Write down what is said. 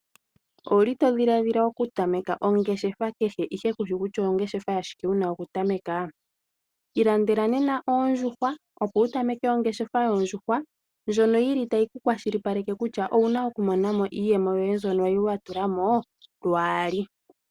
Owuli to dhiladhila okutameka ongeshefa kehe ashike kushi kutya ongeshefa yashike wuna okutameka? Ilandela nena oondjuhwa opo wutameke ongeshefa yoondjuhwa ndjono yili tayi ku kwashilipaleke kutya owuna okumona mo iiyemo yoye mbyono kwali wa tula mo lwaali.